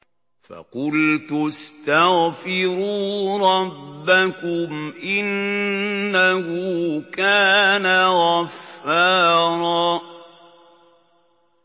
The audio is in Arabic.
فَقُلْتُ اسْتَغْفِرُوا رَبَّكُمْ إِنَّهُ كَانَ غَفَّارًا